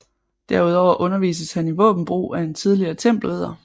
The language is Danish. Derudover undervises han i våbenbrug af en tidligere tempelridder